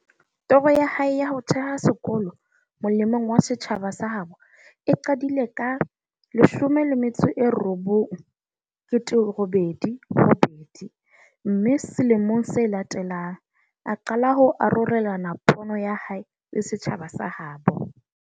Toro ya hae ya ho theha sekolo mole mong wa setjhaba sa habo e qadile ka 1988, mme sele mong se latelang, a qala ho arolelana pono ya hae le setjhaba sa ha habo.